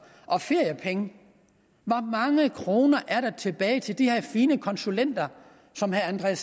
og feriepenge hvor mange kroner er der tilbage til de her fine konsulenter som herre